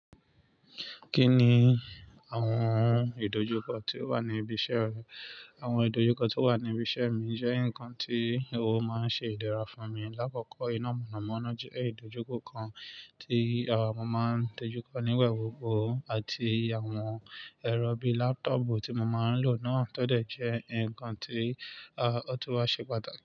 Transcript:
Kí ni àwọn ìdojúkọ tí ó wà ní ibi iṣẹ́ rẹ? Àwọn ìdojúkọ tí ó wà ní ibi iṣẹ́ mi jẹ́ nǹkan tí ó máa ń ṣe ìdẹ́ra fún mi. Láàkọ̀kọ́, iná mọ̀nàmọ́ná jẹ́ ìdojúkọ kan tí a máa ń dojú kọ nígba gbogbo àti àwọn ẹ̀rọ bíi laptopù tí mo máa ń lò náà tọ́ dẹ̀ jẹ́ nǹkan tí ó tún wá ṣe pàtàkì.